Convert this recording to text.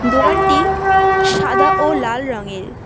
দোকানটি সাদা ও লাল রংয়ের।